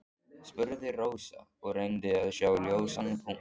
spurði Rósa og reyndi að sjá ljósan punkt.